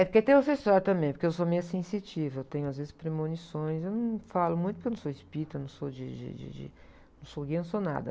É porque tem o também, porque eu sou meio sensitiva, eu tenho às vezes premonições, eu não falo muito porque eu não sou espírita, não sou de, de, de, de... Não sou guia, não sou nada.